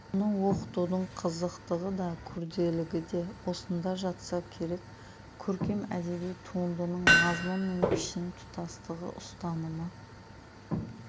оны оқытудың қызықтығы да күрделілігіде осында жатса керек көркем әдеби туындының мазмұн мен пішін тұтастығы ұстанымы